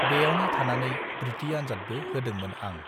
बेयावनो थानानै बृति आनजादबो होदोंमोन आं